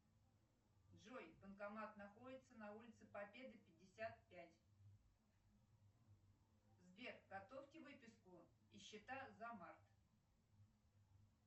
джой банкомат находится на улице победы пятьдесят пять сбер готовьте выписку и счета за март